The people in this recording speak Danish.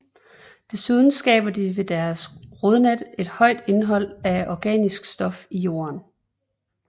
Desuden skaber de ved deres rodnet et højt indhold af organisk stof i jorden